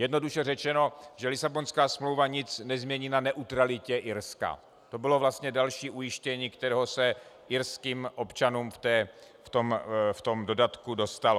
Jednoduše řečeno, že Lisabonská smlouva nic nezmění na neutralitě Irska, to bylo vlastně další ujištění, kterého se irským občanům v tom dodatku dostalo.